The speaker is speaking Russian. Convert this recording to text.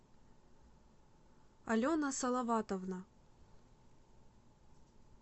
алена салаватовна